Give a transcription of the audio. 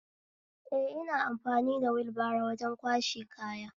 Eh, ina amfani wulbaro wajen kwashe kaya